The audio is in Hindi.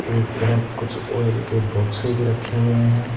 एक तरफ कुछ ऑयल के बॉक्सेज रखे हुए हैं।